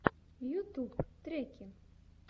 ютуб треки